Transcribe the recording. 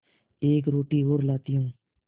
एक रोटी और लाती हूँ